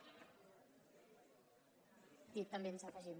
sí també ens hi afegim